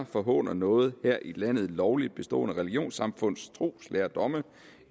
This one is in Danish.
forhåner noget her i landet lovligt bestående religionsamfunds troslærdomme